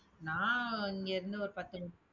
நான் இங்கே இருந்து, ஒரு பத்து